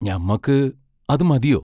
ഞമ്മക്ക് അദ് മതിയോ?...